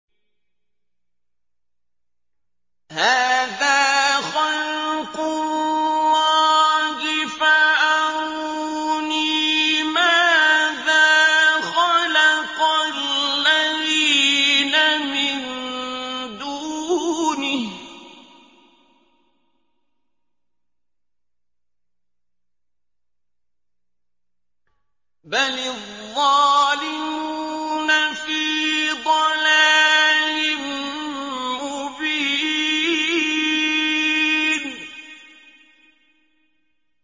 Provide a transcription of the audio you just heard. هَٰذَا خَلْقُ اللَّهِ فَأَرُونِي مَاذَا خَلَقَ الَّذِينَ مِن دُونِهِ ۚ بَلِ الظَّالِمُونَ فِي ضَلَالٍ مُّبِينٍ